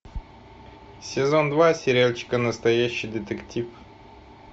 сезон два сериальчика настоящий детектив